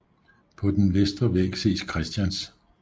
På den vestre væg ses Christians d